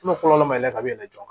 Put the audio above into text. kɔlɔlɔ ma yɛlɛ ka yɛlɛ joona